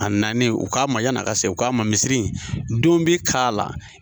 A nani u k'a ma yanni a ka seguin u k'a ma misiri don bɛ k' ala.